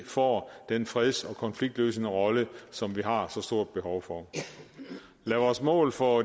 får den freds og konfliktløsende rolle som vi har så stort behov for lad vores mål for